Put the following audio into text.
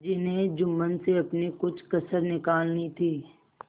जिन्हें जुम्मन से अपनी कुछ कसर निकालनी थी